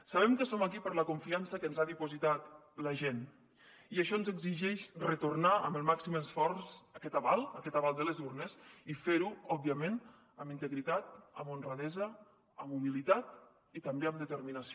sabem que som aquí per la confiança que ens ha dipositat la gent i això ens exigeix retornar amb el màxim esforç aquest aval aquest aval de les urnes i fer ho òbviament amb integritat amb honradesa amb humilitat i també amb determinació